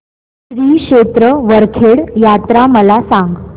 श्री क्षेत्र वरखेड यात्रा मला सांग